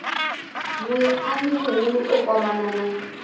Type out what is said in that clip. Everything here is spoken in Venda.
muiangi muhulu o kwamana na